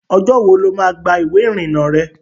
Ọjọ́ wo ló má gba ìwé ìrìnà rẹ?